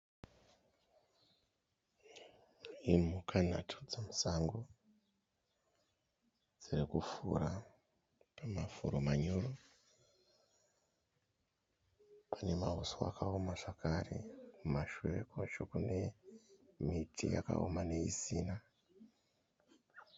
Imhuka nhatu dzemusango dziri kufura mumafuro manyoro. Pane mauswa akaoma zvakare kumashure kwacho kune miti yakaoma neisina.